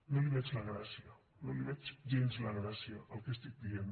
no li veig la gràcia ni li veig gens la gràcia al que estic dient